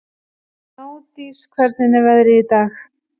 Gnádís, hvernig er veðrið í dag?